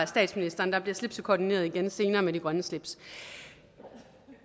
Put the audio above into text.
statsministeren der bliver slipsekoordineret igen senere med de grønne slips